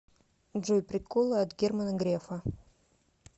джой приколы от германа грефа